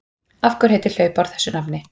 Af hverju heitir hlaupár þessu nafni?